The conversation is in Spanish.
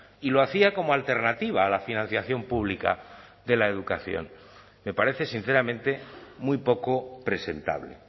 y lo hacía como alternativa a la financiación pública de la educación me parece sinceramente muy poco presentable